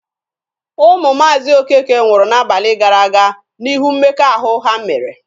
Ụmụ Maazi Okeke nwụrụ n'abalị gara aga n'ihu mmekọahụ ha mere.